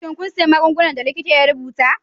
Shin kun sayi magungunan da likita ya rubuta?